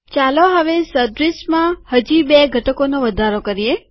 ચાલો હવે સદ્રીશમાં હજી બે ઘટકોનો વધારો કરીએ